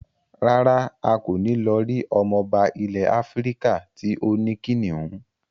Rárá, a kò ní lọ rí ọmọba ilẹ̀ Áfíríkà tí ó ní kìnnìún.